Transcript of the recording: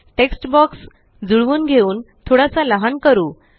text box जुळवून घेऊन थोडासा लहान करू